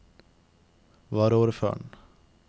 varaordføreren